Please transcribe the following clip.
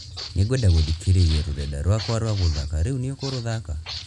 Nĩngwenda gũthikĩrĩria rũrenda rwakwa rwa gũthaka Rĩu nĩ ũkũrũthaka?